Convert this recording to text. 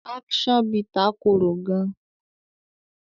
Action bitter kòrò gaan.